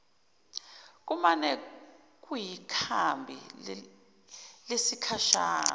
kumane kuyikhambi lesikhashana